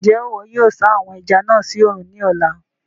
Njẹ iwọ yóò sa àwon ẹja náà sí oòrùn ní ọ̀la?